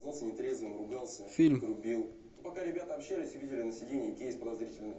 фильм